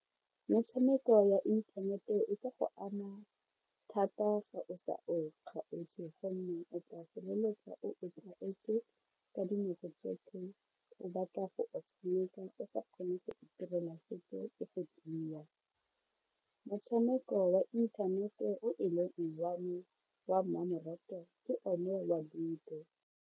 Metshameko ya inthanete e ka go ama thata fa o sa e kgaotse gonne o tla feleletsa o e tlwaetse ka dinako tsotlhe o batla go e tshameka o sa kgone go itirela sepe . Motshameko wa inthanete o e leng leng wa me wa mmamoratwa ke one wa ludo.